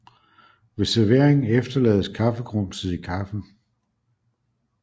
Ved servering efterlades kaffegrumset i kaffen